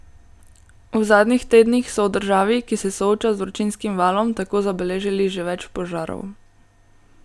V zadnjih tednih so v državi, ki se sooča z vročinskim valom, tako zabeležili že več požarov.